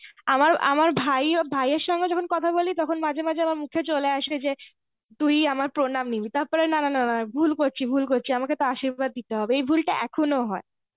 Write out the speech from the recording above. আমার আমার ভাইও ভাইয়ের সঙ্গে যখন কথা বলি তখন মাঝে মাঝে আমার মুখে চলে আসে যে, তুই আমার প্রনাম নিবি. তারপরে না না না ভুল করছি ভুল করছি. ওকে আশির্বাদ দিতে হবে. এই ভুল টা এখনো হয়.